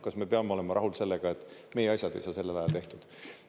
Kas me peame olema rahul sellega, et meie asjad ei saa sellel ajal tehtud?